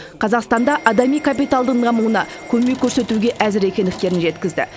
қазақстанда адами капиталдың дамуына көмек көрсетуге әзір екендіктерін жеткізді